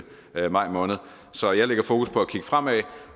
maj måned så jeg lægger mit fokus på at kigge fremad